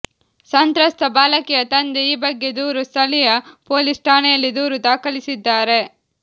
ಸಂತ್ರಸ್ತ ಬಾಲಕಿಯ ತಂದೆ ಈ ಬಗ್ಗೆ ದೂರು ಸ್ಥಳೀಯ ಪೊಲೀಸ್ ಠಾಣೆಯಲ್ಲಿ ದೂರು ದಾಖಲಿಸಿದ್ದಾರೆ